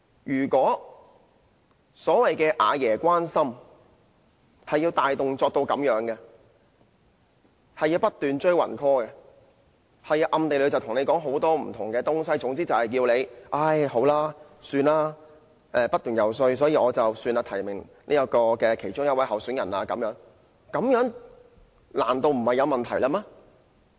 如果所謂"阿爺關心"涉及如此大動作，即不斷"追魂 call"、暗地裏跟選委說了很多話，總之要他們經不起不斷遊說而改變初衷，變成提名某一位候選人，這樣做難道沒有問題嗎？